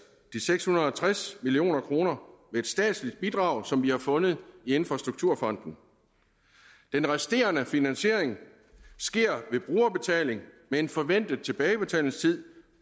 de seks hundrede og tres million kroner ved et statsligt bidrag som vi har fundet i infrastrukturfonden den resterende finansiering sker ved brugerbetaling med en forventet tilbagebetalingstid